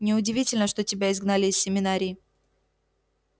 неудивительно что тебя изгнали из семинарии